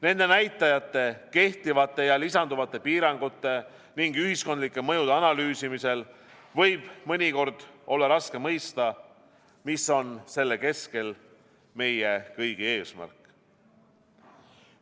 Nende näitajate, kehtivate ja lisanduvate piirangute ning ühiskondlike mõjude analüüsimisel võib mõnikord olla raske mõista, mis on selle keskel meie kõigi eesmärk.